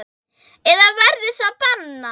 Eða verður það bannað?